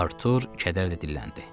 Artur kədərlə dilləndi.